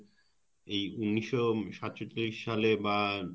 এই উনিশশো সাতচল্লিশ সালে বা